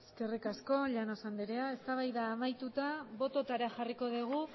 eskerrik asko llanos andrea eztabaida amaituta botoetara jarriko dugu